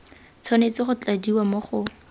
tshwanetse go tladiwa mo go